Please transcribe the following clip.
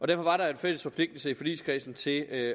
derfor var der en fælles forpligtelse i forligskredsen til at